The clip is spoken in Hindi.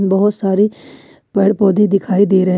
बहुत सारी पेड़ पौधे दिखाई दे रहे हैं।